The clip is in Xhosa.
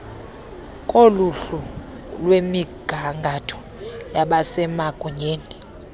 koluhlu lwemigangatho yabasemagunyeni